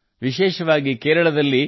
ಓಣಂ ಅನ್ನು ವಿಶೇಷವಾಗಿ ಕೇರಳದಲ್ಲಿ